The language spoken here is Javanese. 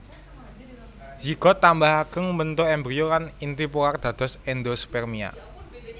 Zigot tambah ageng mbentuk embrio lan inti polar dados endospermia